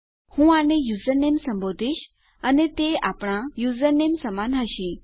હું આને યુઝરનેમ સંબોધીશ અને તે આપણા યુઝરનેમ સમાન હશે